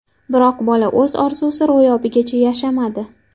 Biroq bola o‘z orzusi ro‘yobigacha yashamadi.